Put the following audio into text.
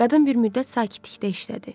Qadın bir müddət sakitlikdə işlədi.